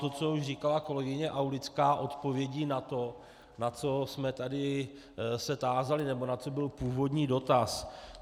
To, co už říkala kolegyně Aulická odpovědí na to, na co jsme tady se tázali nebo na co byl původní dotaz.